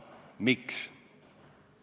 Miks?